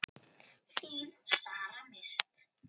Þín Sara Mist.